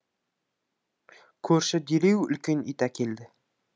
көрші дереу үлкен ит әкелді